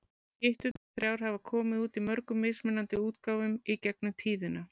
Skytturnar þrjár hafa komið út í mörgum mismunandi útgáfum í gegnum tíðina.